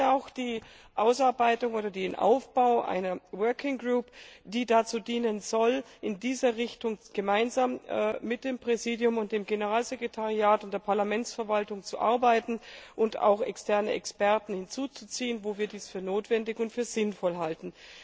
Ich begrüße auch die Einsetzung einer Arbeitsgruppe, die dazu dienen soll, in dieser Richtung gemeinsam mit dem Präsidium, dem Generalsekretariat und der Parlamentsverwaltung zu arbeiten und auch externe Experten hinzuzuziehen, wo wir dies für notwendig und für sinnvoll halten.